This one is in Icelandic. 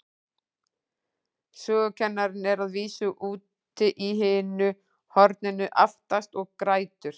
Sögukennarinn er að vísu úti í hinu horninu, aftast, og grætur.